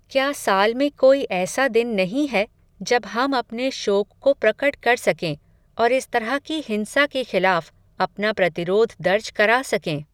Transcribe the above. क्या साल में कोई ऐसा दिन नहीं है, जब हम अपने शोक को प्रकट कर सकें, और इस तरह की हिंसा के खिलाफ़, अपना प्रतिरोध दर्ज करा सकें